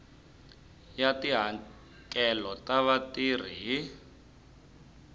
ya tihakelo ta vatirhi hi